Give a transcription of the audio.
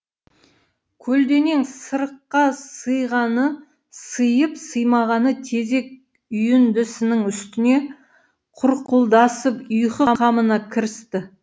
көлденең сырыққа сыйғаны сыйып сыймағаны тезек үйіндісінің үстіне құрқылдасып ұйқы қамына кірісті